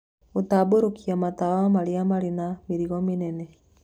Gũtambũrũkia matawa marĩa marĩ na mĩrigo mĩnene